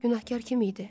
Günahkar kim idi?